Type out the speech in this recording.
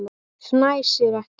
Fnæsir ekki.